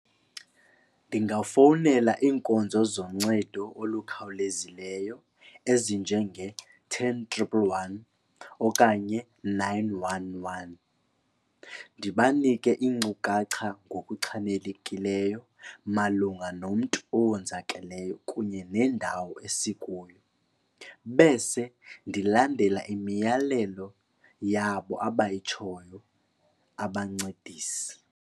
Ndingafowunela iinkonzo zoncedo olukhawulezileyo ezinjenge-ten triple one okanye nine one one ndibanike iinkcukacha ngokuchanelekileyo malunga nomntu owonzakeleyo kunye nendawo esikuyo. Bese ndilandela imiyalelo yabo abayitshoyo abancedisi.